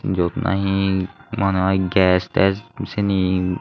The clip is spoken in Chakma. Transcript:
jot nahi monehoi ges tes seni.